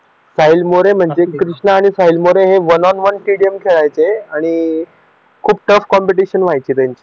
साहिल मोरे म्हणजे कृष्णा आणि साहिल मोरे हे वन ऑफ वन स्टेडियम खेळायचे आणि खूप टफ कॉम्पिटिशन व्हायची त्यांची